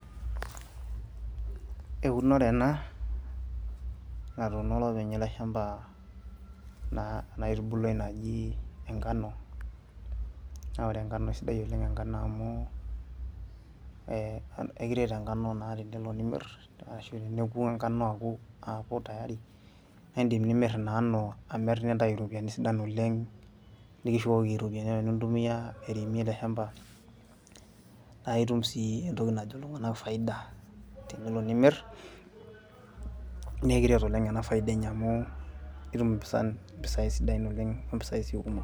eunore ena natuuno olopeny ele shamba naa ena aitubuluai naji enkano naa ore enkano isidai oleng enkano amu eh, ekiret enkano naa tenelo nimirr ashu teneku enkano aaku tayari naindim nimirr ina ano amirr nintayu iropiyiani sida oleng nikishukoki iropiyiani apa nintumia airemie ele shamba naitum sii entoki najo iltung'anak faida tenelo nimirr nekiret oleng ena faida enye amu itum impisai sidain oleng ompisai sii kumo.